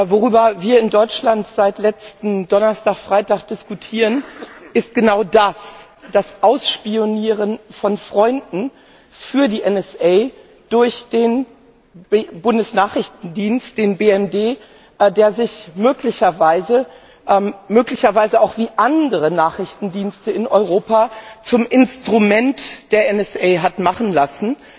Worüber wir in Deutschland seit letzten Donnerstag, Freitag diskutieren, ist genau das das Ausspionieren von Freunden für die NSA durch den Bundesnachrichtendienst, den BND, der sich möglicherweise wie auch andere Nachrichtendienste in Europa zum Instrument der NSA hat machen lassen.